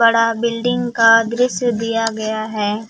बड़ा बिल्डिंग का दृश्य दिया गया है।